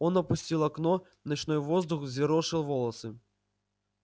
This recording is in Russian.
он опустил окно ночной воздух взъерошил волосы